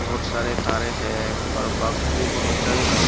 बहुत सारे तारे हैं और बॉक्स भी बहुत सारे हैं।